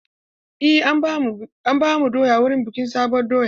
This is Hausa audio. Eh, an bamu doya wurin bikin sabuwar doya.